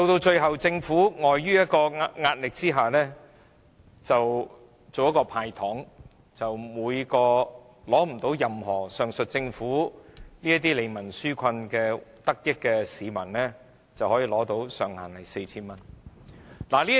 最後，政府礙於壓力而"派糖"，向未能從上述任何利民紓困措施得益的市民每人"派錢"，上限 4,000 元。